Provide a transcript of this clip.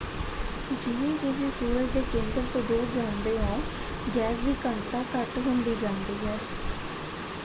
ਜਿਵੇਂ ਹੀ ਤੁਸੀਂ ਸੂਰਜ ਦੇ ਕੇਂਦਰ ਤੋਂ ਦੂਰ ਜਾਂਦੇ ਹੋ ਗੈਸ ਦੀ ਘਣਤਾ ਘੱਟ ਹੁੰਦੀ ਜਾਂਦੀ ਹੈ।